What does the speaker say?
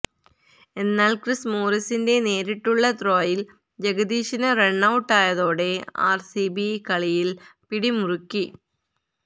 എന്നാല് ക്രിസ് മോറിസിന്റെ നേരിട്ടുള്ള ത്രോയില് ജഗദീശന് റണ്ണൌട്ടൌയതോടെ ആര്സിബി കളിയില് പിടിമുറുക്കി